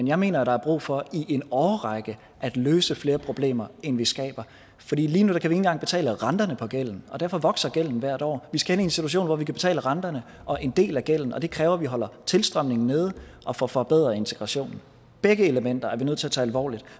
jeg mener der er brug for i en årrække at løse flere problemer end vi skaber lige nu kan vi ikke engang betale renterne på gælden og derfor vokser gælden hvert år vi skal ind i en situation hvor vi kan betale renterne og en del af gælden og det kræver at vi holder tilstrømningen nede og får forbedret integrationen begge elementer er vi nødt til at tage alvorligt